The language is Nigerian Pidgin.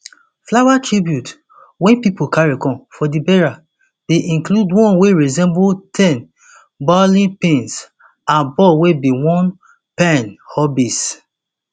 flower tributes wey pipo carry come for di burial bin include one wey resemble ten bowling pins and ball wey be one of payne hobbies